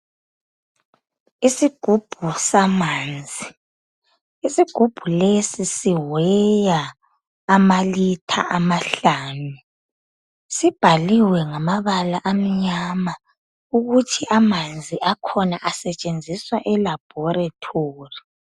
Isigubhu samanzi, isigubhu lesi siweya amalitha amahlanu . Sibhaliwe ngamabala amnyama ukuthi amanzi akhona asetshenziswa elabhorethori.